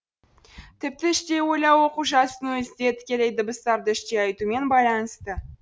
тіпті іштей ойлау оқу жазудың өзі де тікелей дыбыстарды іштей айтумен байланысты